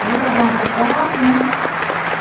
Aí eu levava para o quarto, né.